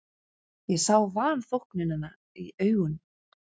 Ég sá vanþóknunina í augum